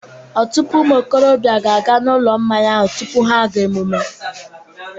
Ọtụtụ ụmụ okorobịa ga-aga na Ụlọ Mmanya ahụ tupu ha aga emume